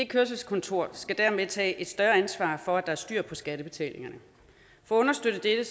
kørselskontoret skal dermed tage et større ansvar for at der er styr på skattebetalingerne for at understøtte dette